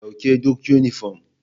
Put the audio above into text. Dauke duk yunifom.